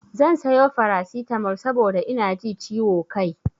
Zan sayo farasitamol saboda ina ji ciwo kai.